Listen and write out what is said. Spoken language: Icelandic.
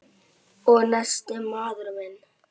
Og nestið, maður minn!